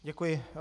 Děkuji.